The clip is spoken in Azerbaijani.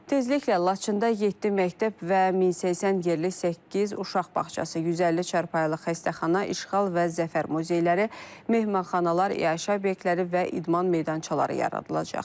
Tezliklə Laçında yeddi məktəb və 1080 yerlik səkkiz uşaq bağçası, 150 çarpayılıq xəstəxana, işğal və zəfər muzeyləri, mehmanxanalar, iaşə obyektləri və idman meydançaları yaradılacaq.